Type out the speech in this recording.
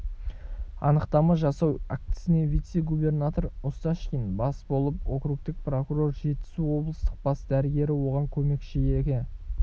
анықтама жасау актісіне вице-губернатор осташкин бас болып округтік прокурор жетісу облыстық бас дәрігері оған көмекші екі